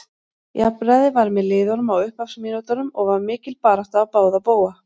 Jafnræði var með liðunum á upphafsmínútunum og var mikil barátta á báða bóga.